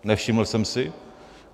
Nevšiml jsem si.